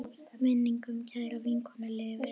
Minning um kæra vinkonu lifir.